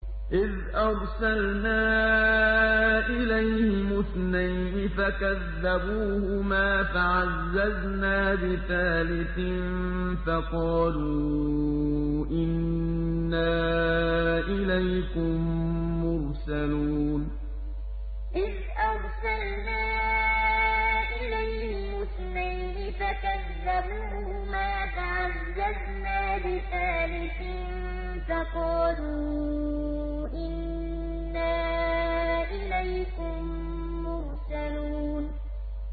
إِذْ أَرْسَلْنَا إِلَيْهِمُ اثْنَيْنِ فَكَذَّبُوهُمَا فَعَزَّزْنَا بِثَالِثٍ فَقَالُوا إِنَّا إِلَيْكُم مُّرْسَلُونَ إِذْ أَرْسَلْنَا إِلَيْهِمُ اثْنَيْنِ فَكَذَّبُوهُمَا فَعَزَّزْنَا بِثَالِثٍ فَقَالُوا إِنَّا إِلَيْكُم مُّرْسَلُونَ